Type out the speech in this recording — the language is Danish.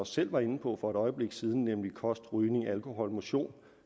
selv var inde på for et øjeblik siden nemlig kost rygning alkohol motion